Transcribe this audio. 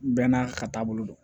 Bɛɛ n'a ka taabolo don